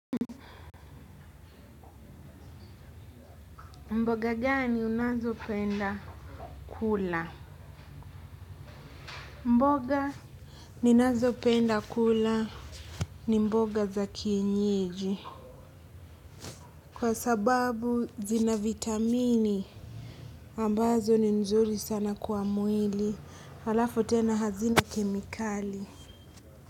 Mboga ngani unazopenda kula? Mboga ninazopenda kula ni mboga za kienyeji. Kwa sababu zina vitamini ambazo ni nzuri sana kwa mwili. Halafu tena hazina kemikali.